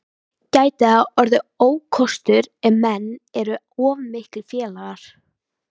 Gæti það orðið ókostur ef menn eru of miklir félagar?